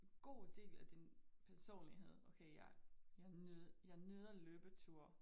God del af din personlighed okay jeg jeg jeg nyder løbeture